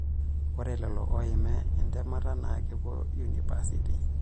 Ore lelo oiima entemata na kepuo unipasiti.